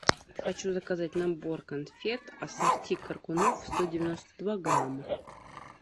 хочу заказать набор конфет ассорти коркунов сто девяносто два грамма